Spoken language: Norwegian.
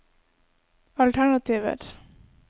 alternativer